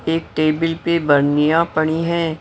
एक टेबल पर बर्नियां पड़ी हैं।